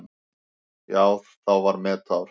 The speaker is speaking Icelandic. Þá var metár.